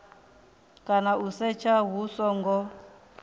kana u setsha hu songo